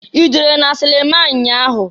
I jere na silima nnya ahụ?